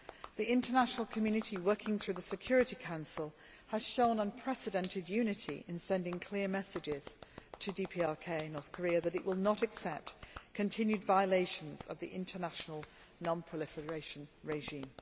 The International Community, working through the Security Council, has shown unprecedented unity in sending clear messages to the DPRK that it will not accept continued violations of the international non proliferation regime.